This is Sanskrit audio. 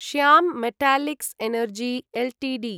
Shyam metallics energy Ltd